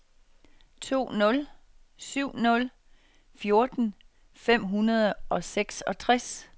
to nul syv nul fjorten fem hundrede og seksogtres